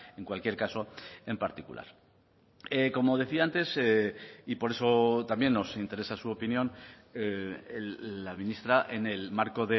en cualquier caso en particular como decía antes y por eso también nos interesa su opinión la ministra en el marco